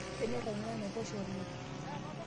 kanyorr aing'ua enaiposha olengng'